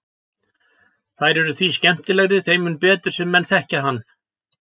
Þær eru því skemmtilegri þeim mun betur sem menn þekkja hann.